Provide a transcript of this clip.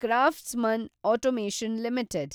craftsman automation limited